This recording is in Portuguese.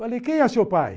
Falei, quem é seu pai?